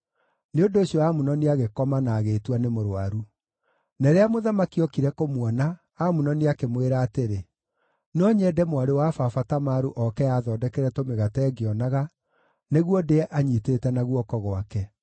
Nĩ ũndũ ũcio Amunoni agĩkoma na agĩĩtua nĩ mũrũaru. Na rĩrĩa mũthamaki ookire kũmuona, Amunoni akĩmwĩra atĩrĩ, “No nyende mwarĩ wa baba Tamaru oke aathondekere tũmĩgate ngĩonaga, nĩguo ndĩe anyiitĩte na guoko gwake.”